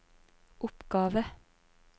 oppgave